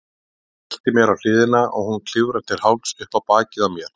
Ég velti mér á hliðina og hún klifrar til hálfs upp á bakið á mér.